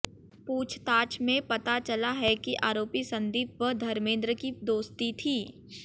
पूछताछ में पता चला है कि आरोपी संदीप व धर्मेंद्र की दोस्ती थी